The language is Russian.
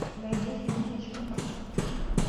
найди фильм хичкока